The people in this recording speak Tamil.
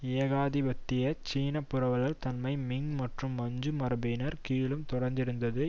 ஏகாதிபத்திய சீன புரவலர் தன்மை மிங் மற்றும் மஞ்சு மரபினர் கீழும் தொடர்ந்திருந்தது